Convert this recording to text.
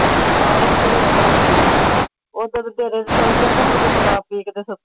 ਆ ਇੱਥੇ ਵੀ ਆਇਆ ਸੀ। ਸ਼ਰਾਬ ਪੀ ਕੇ ਸੁੱਤਾ।